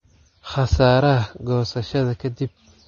Khasaaraha goosashada ka dib.